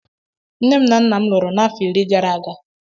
Nnem na nna'm luro na afọ iri garaga.